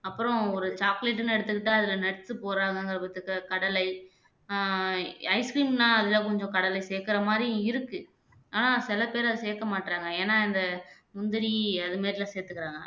அப்புறம் ஒரு சாக்லேட்ன்னு எடுத்துக்கிட்டா அதுல nuts போடுறாங்கங்கற பட்சத்துல கடலை அஹ் ஐஸ் கிரீம் எல்லாம் அதுல கொஞ்சம் கடலை சேர்க்கிற மாதிரியும் இருக்கு ஆனா சில பேர் அதை சேர்க்க மாட்றாங்க ஏன்னா இந்த முந்திரி அது மாதிரிலாம் சேர்த்துக்கிறாங்க